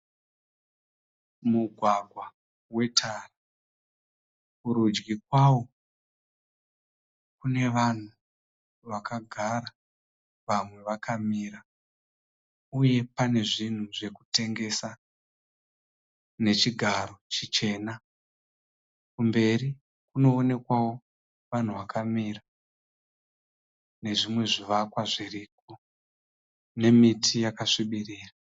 Mugwangwa wetara kurudyi kwawo kune vanhu vakagara vamwe vakamira, uye pane zvinhu zvekutengesa nechigaro chichena . Kumberi kunoonekwavo vanhu vakamira nezvimwe zvivakwa zviriko, nemiti yakasvibirira.